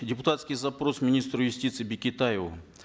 депутатский запрос министру юстиции бекетаеву